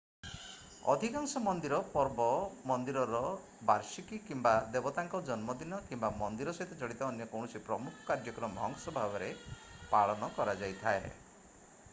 ଅଧିକାଂଶ ମନ୍ଦିର ପର୍ବ ମନ୍ଦିରର ବାର୍ଷିକୀ କିମ୍ବା ଦେବତାଙ୍କ ଜନ୍ମଦିନ କିମ୍ବା ମନ୍ଦିର ସହିତ ଜଡିତ ଅନ୍ୟ କୌଣସି ପ୍ରମୁଖ କାର୍ଯ୍ୟକ୍ରମର ଅଂଶ ଭାବରେ ପାଳନ କରାଯାଇଥାଏ